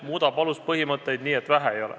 – muudab aluspõhimõtteid nii et vähe ei ole.